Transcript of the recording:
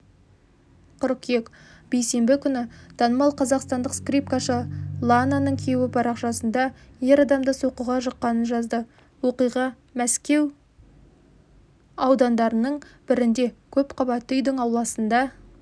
қыркүйек бейсенбі күні танымал қазақстандық скрипкашы лананың күйеуі парақшасында ер адамды соққыға жыққанын жазды оқиға мәскеу аудандарының бірінде көпқабатты үйдің ауласында